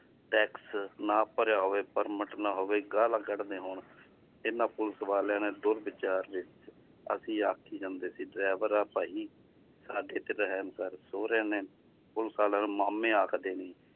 tax ਨਾ ਭਰਿਆ ਹੋਵੇ permit ਨਾ ਹੋਵੇ ਗਾਲਾਂ ਕੱਢਦੇ ਹੋਣ ਇਹਨਾਂ ਪੁਲਿਸ ਵਾਲਿਆਂ ਨੇ ਦੁਰਵੀਚਾਰ ਅਸੀਂ ਆਖੀ ਜਾਂਦੇ ਸੀ driver ਆ ਭਾਈ ਸਾਡੇ ਤੇ ਰਹਿਮ ਕਰ ਸਹੁਰਿਆਂ ਨੇ ਪੁਲਿਸ ਵਾਲਿਆਂ ਨੂੰ ਮਾਮੇ ਆਖਦੇ ਨੇ